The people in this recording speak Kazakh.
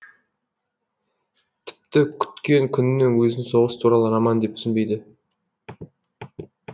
тіпті күткен күннің өзін соғыс туралы роман деп түсінбейді